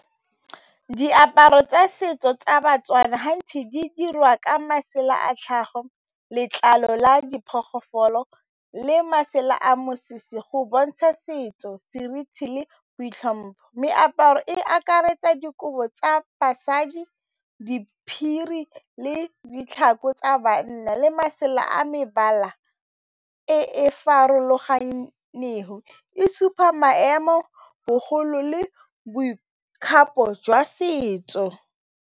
Diaparo tsa setso tsa ba-Tswana gantsi di dirwa ka masela a tlhago, letlalo la diphologolo le masela a mosese go bontsha setso, seriti le boitlhompho, meaparo e akaretsa dikobo tsa basadi le ditlhako tsa bana le masela a mebala e e farologaneng, e supa maemo le boikgapo jwa setso.